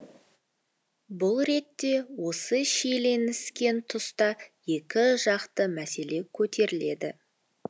бұл ретте осы шиелініскен тұста екі жақты мәселе көтеріледі